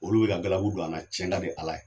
Olu bɛ ka galabu don an na tiɲɛn ka di Ala ye.